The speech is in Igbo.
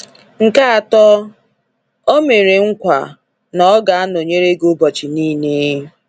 Nke atọ, ọ mere nkwa: na ọ ga nọnyere gị ụbọchị niile.